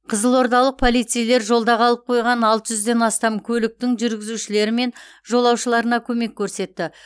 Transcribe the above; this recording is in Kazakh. қызылордалық полицейлер жолда қалып қойған алты жүзден астам көліктің жүргізушілері мен жолаушыларына көмек көрсетті